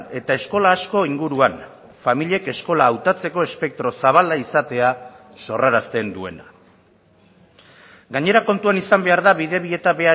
eta eskola asko inguruan familiek eskola hautatzeko espektro zabala izatea sorrarazten duena gainera kontuan izan behar da bidebieta